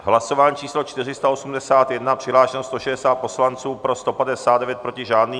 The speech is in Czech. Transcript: Hlasování číslo 481, přihlášeno 160 poslanců, pro 159, proti žádný.